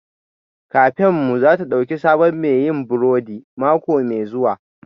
Kafenmu za ta ɗauki sabon mai yin burodi mako mai zuwa